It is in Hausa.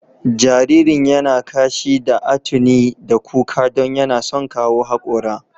Jaririn ya na kashi da atuni da kuka don yana son kawo haƙora.